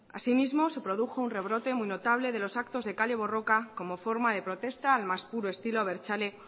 asimismo se produjo un rebrote muy notable de los actos de kale borroka como forma de protesta al más puro estilo abertzale